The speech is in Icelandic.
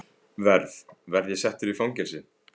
Verð. verð ég settur í fangelsi?